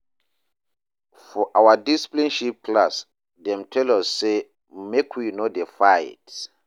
For our discipleship class, dem tell us sey make we no dey fight.